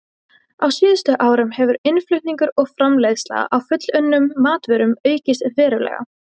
Á síðustu árum hefur innflutningur og framleiðsla á fullunnum matvörum aukist verulega.